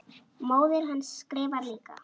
Móðir hans skrifar líka.